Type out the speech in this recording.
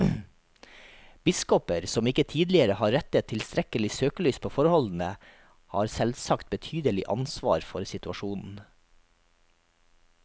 Biskoper som ikke tidligere har rettet tilstrekkelig søkelys på forholdene, har selvsagt betydelig ansvar for situasjonen.